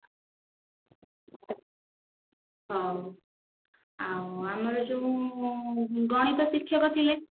ହଉ ଆମର ଯୋଉ ଗଣିତ ଶିକ୍ଷକ ଥିଲେ